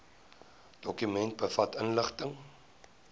dokument bevat inligting